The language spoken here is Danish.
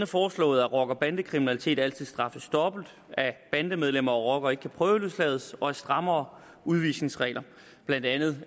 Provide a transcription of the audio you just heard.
foreslået at rocker bande kriminalitet altid straffes dobbelt at bandemedlemmer og rockere ikke kan prøveløslades og at strammere udvisningsregler blandt andet